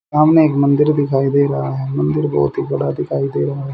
सामने एक मंदिर दिखाई दे रहा है मंदिर बहोत ही बड़ा दिखाई दे रहा--